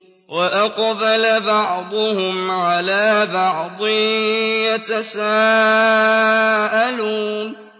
وَأَقْبَلَ بَعْضُهُمْ عَلَىٰ بَعْضٍ يَتَسَاءَلُونَ